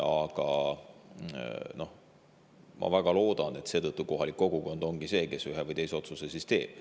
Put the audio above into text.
Aga ma väga loodan, et kohalik kogukond ongi see, kes ühe või teise otsuse teeb.